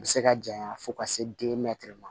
A bɛ se ka janɲa fo ka se ma